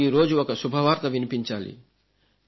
మీకు ఈరోజు ఒక శుభవార్త వినిపించాలి